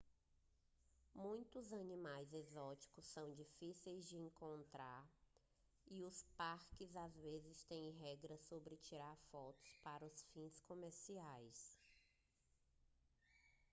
muitos animais exóticos são difíceis de encontrar e os parques às vezes têm regras sobre tirar fotos para fins comerciais